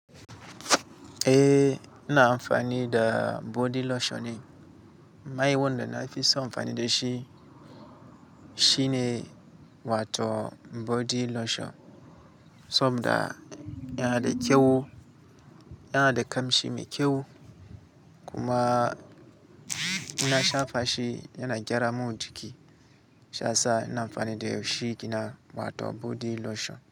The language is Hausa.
Eh, ina amfani da body lotion ne. Mai wanda na fi so amfani da shi shine Wato body lotion. Saboda yana da kyau, yana da kamshi mai kyau kuma in na shafa shi yana gyara mun jiki. Sha sa ina amfani da shi kina Wato body lotion.